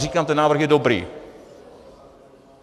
Říkám, ten návrh je dobrý.